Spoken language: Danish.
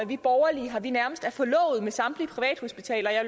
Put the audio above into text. vi borgerlige nærmest er forlovet med samtlige privathospitaler og jeg